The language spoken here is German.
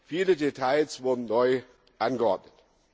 Viele Details wurden neu geordnet.